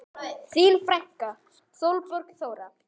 Þín frænka Sólborg Þóra.